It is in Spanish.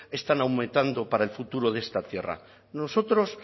están aumentando para el futuro de esta tierra nosotros